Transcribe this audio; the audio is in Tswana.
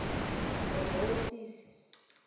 bobosisi